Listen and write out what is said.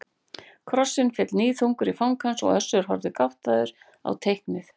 Krossinn féll níðþungur í fang hans og Össur horfði gáttaður á teiknið.